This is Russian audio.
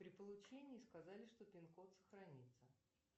при получении сказали что пин код сохранится